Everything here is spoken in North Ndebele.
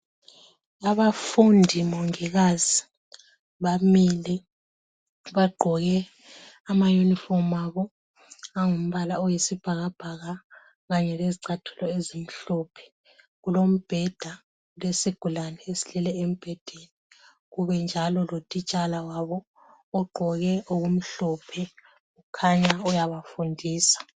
Abafundi mongikazi bamile bagqoke ama uniform abo angumbala oyisibhakabhaka kanye lezicatulo ezimhlophe. Kulombheda ,kulesigulane esilele embhedeni ,kubenjalo lotitshala wabo ogqoke okumhlophe, kukhanya uyabafundisa.